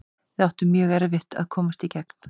Við áttum mjög erfitt að komast í gegn.